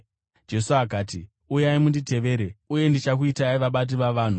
Jesu akati, “Uyai munditevere, uye ndichakuitai vabati vavanhu.”